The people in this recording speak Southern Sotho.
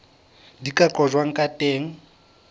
di ka qojwang ka teng